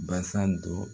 Basa dɔ